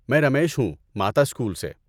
میں رمیش ہوں ماتا اسکول سے۔